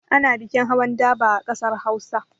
Ana bikin hawan daba a ƙasar Hausa.